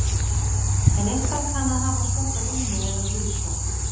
En eitthvað kann að hafa skort á vinnu eða guðs hjálp.